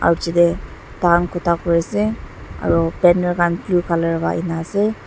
aru chita tang kuta kori se aru banner khan blue colour ase.